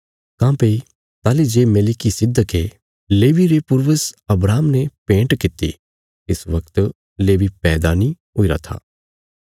काँह्भई ताहली जे मेलिकिसिदके लेवी रे पूर्वज अब्राहम ने भेंट कित्ती तिस वगत लेवी पैदा नीं हुईरा था